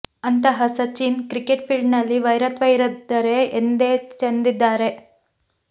ಅಂತಹ Sachin cricket field ನಲ್ಲಿ ವೈರತ್ವ ಇದ್ದರೇ ಚೆಂದ ಎಂದಿದ್ದಾರೆ